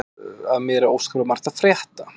Af mér er óskaplega margt að frétta.